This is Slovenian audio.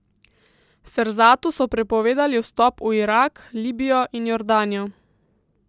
Ferzatu so prepovedali vstop v Irak, Libijo in Jordanijo.